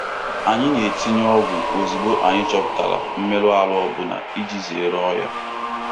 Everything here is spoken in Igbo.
Anyị na-etinye ọgwụ ozugbo anyị chọpụtara mmerụ ahụ ọ bụla iji zere ọrịa.